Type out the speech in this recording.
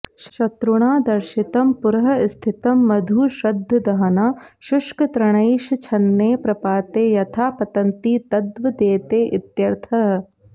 शत्रुणा दर्शितं पुरःस्थितं मधु श्रद्दधानाः शुष्कतृणैश्छन्ने प्रपाते यथा पतन्ति तद्वदेते इत्यर्थः